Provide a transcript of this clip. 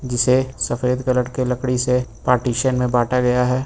जिसे सफेद कलर के लकड़ी से पार्टीशन में बांटा गया है।